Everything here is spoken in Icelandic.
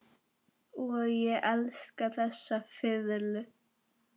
Og ég elska þessa fiðlu.